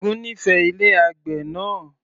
Ṣẹ́gun nífẹẹ ilé àgbè náà